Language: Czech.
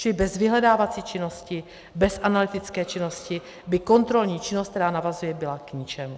Čili bez vyhledávací činnosti, bez analytické činnosti by kontrolní činnost, která navazuje, byla k ničemu.